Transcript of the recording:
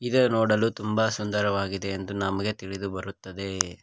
ಇದು ನೋಡಲು ತುಂಬ ಸುಂದರವಾಗಿದೆ ಎಂದು ನಮಗೆ ತಿಳಿದು ಬರುತ್ತದೆ.